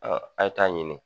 a ye taa ɲini